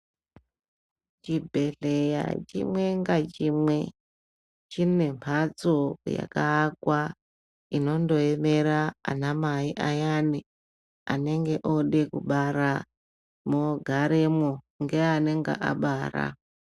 Chibhedhleya chimwe ngachimwe chine mbatso yakaakwa inondoemera ana mai ayani anenge ode kubara mogaremwo ngeanenge abara .